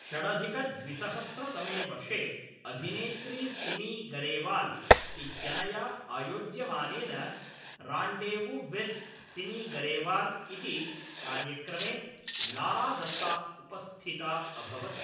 षडधिकद्विसहस्रतमे वर्षे अभिनेत्री सिमी गरेवाल् इत्यनया आयोज्यमानेन रान्डेवु विथ् सिमी गरेवाल् इति कार्यक्रमे लारा दत्ता उपस्थिता अभवत्।